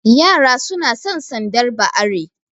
Yara suna san sandar ba are